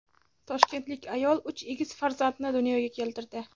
Toshkentlik ayol uch egiz farzandni dunyoga keltirdi.